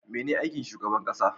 Mene aikin shugaban ƙasa?